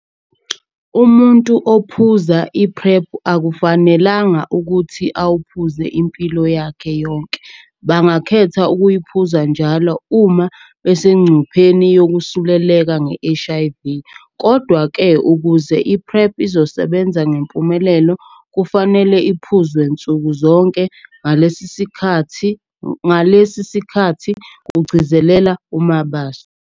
"Umuntu ophuza i-PrEP akufanelanga ukuthi awuphuze impilo yakhe yonke, bangakhetha ukuyiphuza njalo uma besengcupheni yokusuleleka nge-HIV. Kodwa-ke, ukuze i-PrEP izosebenza ngempumelelo, kufanele iphuzwe nsuku zonke, ngalesi sikhathi," kugcizelela uMabaso.